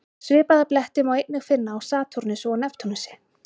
Svipaða bletti má einnig finna á Satúrnusi og Neptúnusi.